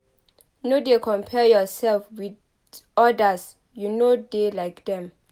No dey compare yoursef wit odas you no dey like dem